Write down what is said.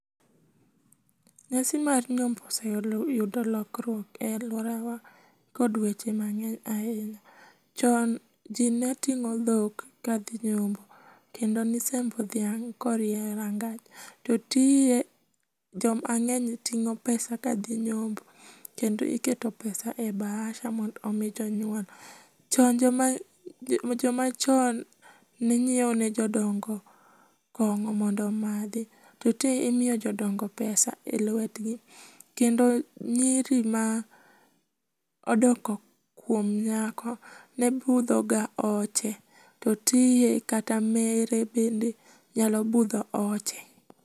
Nyasi mar nyombo osee yudo lokruok e aluorawa kod weche mang'eny ahinya. Chon ji ne ting'o dhok kadhi nyombo, kendo ne isembo dhiang' korie rangach. To tinde joma ng'eny ting'o pesa kadhi nyombo kendo iketo pesa e bahasa mondo omi jonyuol. Chon joma chon ne nyiewo ne jodongo kong'o mondo omadhi. To tinde imiyo jodongo pesa e lwetgi. Kendo nyiri ma odok ga kuon nyako ne budhoga oche to tinde kata mere bende nyalo budho oche.